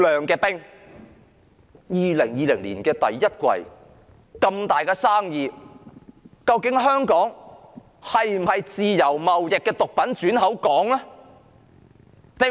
2020年第一季發現這宗大生意，究竟香港是否毒品貿易的轉口港呢？